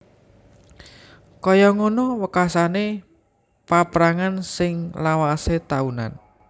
Kaya ngono wekasané paprangan sing lawasé taunan